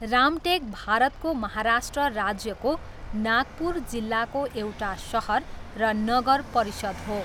रामटेक भारतको महाराष्ट्र राज्यको नागपुर जिल्लाको एउटा सहर र नगर परिषद हो।